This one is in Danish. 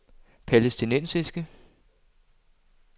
palæstinensiske